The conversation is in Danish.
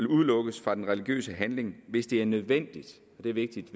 udelukkes fra den religiøse handling hvis det er nødvendigt og det er vigtigt